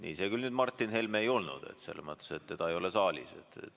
Ei, see küll nüüd Martin Helme ei olnud, selles mõttes, et teda ei ole saalis.